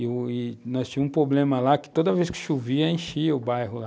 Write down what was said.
E nós tínhamos um problema lá, que toda vez que chovia, enchia o bairro lá.